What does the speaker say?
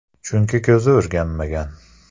Chunki ko‘zi o‘rganmagan.